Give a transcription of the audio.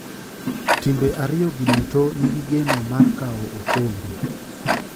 Timbe ariyo gi duto ni gi geno mar kawo okombe.